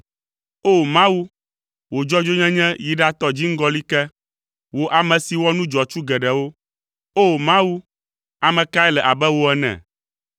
O! Mawu, wò dzɔdzɔenyenye yi ɖatɔ dziŋgɔli ke, wò ame si wɔ nu dzɔatsu geɖewo. O! Mawu, ame kae le abe wò ene?